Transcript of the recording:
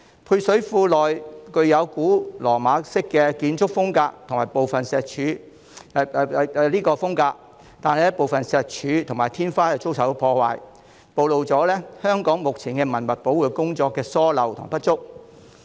配水庫的建築風格屬古羅馬式，但部分石柱和天花遭受破壞，暴露了香港現時文物保育工作的疏漏和不足。